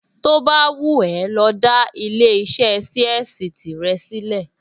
To bá wù ẹ́ lọ dá ilé-iṣẹ́ ṣíẹ́sì tìrẹ sílẹ̀